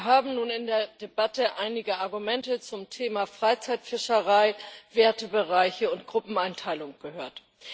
Wir haben nun in der Debatte einige Argumente zum Thema Freizeitfischerei, Wertebereiche und Gruppeneinteilung gehört.